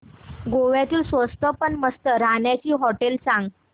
गोव्यातली स्वस्त पण मस्त राहण्याची होटेलं सांग